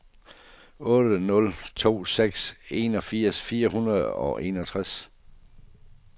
otte nul to seks enogfirs fire hundrede og enogtres